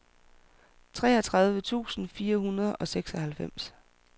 treogtredive tusind fire hundrede og seksoghalvfems